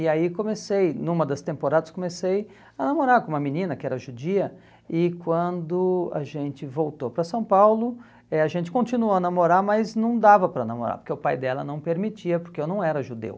E aí comecei, numa das temporadas, comecei a namorar com uma menina que era judia e quando a gente voltou para São Paulo, eh a gente continuou a namorar, mas não dava para namorar, porque o pai dela não permitia, porque eu não era judeu.